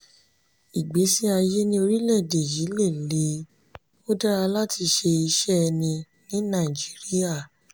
ìgbésí ayé ní orílẹ̀-èdè yii lè le; ó dára láti ṣe iṣẹ́ ẹni ní nàìjíríà.